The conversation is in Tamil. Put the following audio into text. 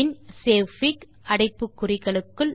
பின் சேவ்ஃபிக் அடைப்பு குறிகளுக்குள்